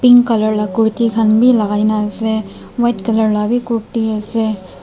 pink colour khan Kurt laga ke na ase.